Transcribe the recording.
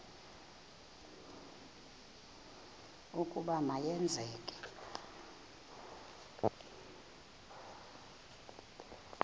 ukuba ma yenzeke